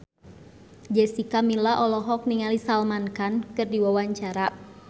Jessica Milla olohok ningali Salman Khan keur diwawancara